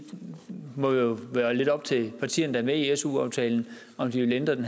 må jo være lidt op til partierne der er med i su aftalen om de vil ændre den